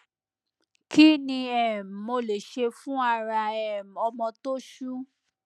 kí ni um mo lè ṣe fún ara um ọmọ tó ṣú